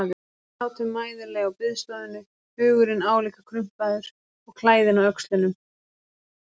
Við sátum mæðuleg á biðstofunni, hugurinn álíka krumpaður og klæðin á öxlunum.